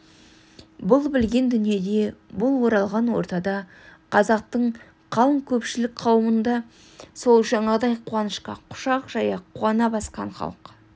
бұл білген дүниеде бұл оралған ортада қазақтың қалың көпшілік қауымында сол жаңағыдай қуанышқа құшақ жая қуана басқан халық